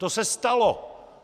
To se stalo!